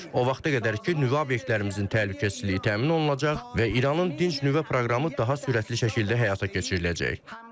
O vaxta qədər ki, nüvə obyektlərimizin təhlükəsizliyi təmin olunacaq və İranın dinc nüvə proqramı daha sürətli şəkildə həyata keçiriləcək.